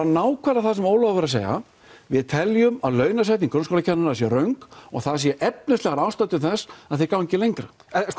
nákvæmlega það sem Ólafur var að segja við teljum að launasetning grunnskólakennara sé röng og það séu efnislegar ástæður til þess að þeir gangi lengra